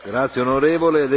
Herr Präsident!